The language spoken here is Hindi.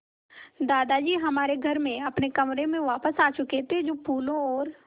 दादाजी हमारे घर में अपने कमरे में वापस आ चुके थे जो फूलों और